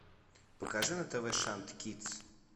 покажи на тв шант кидс